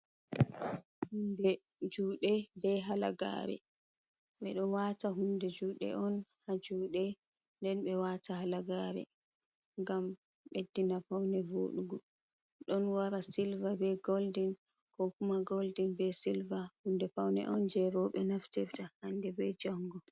Hunde jude be halagare. Ɓeɗo wata hunde juɗe on ha jude den be wata halagare ngam ɓeddina paune voɗugo don wara silva be goldin ko kuma goldin be silva hunde paune on je roɓe naftirta hande be jango.